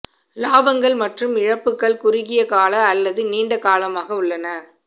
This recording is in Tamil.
லாபங்கள் மற்றும் இழப்புகள் குறுகிய கால அல்லது நீண்ட காலமாக உள்ளன